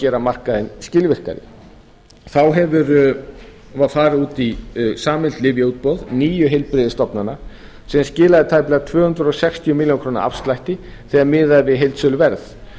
gera markaðinn skilvirkari þá var farið út í sameiginlegt lyfjaútboð níu heilbrigðisstofnana skilaði tæplega tvö hundruð sextíu milljónir króna afslætti þegar miðað er við heildsöluverð